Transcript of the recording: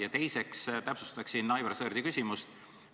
Ja teiseks täpsustaksin Aivar Sõerdi küsimust.